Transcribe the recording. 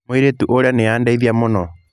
Mũirĩtu ũrĩa nĩ aandeithia mũno.